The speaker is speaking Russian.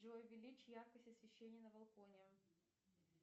джой увеличь яркость освещения на балконе